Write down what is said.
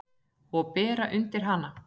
Og bera undir hana.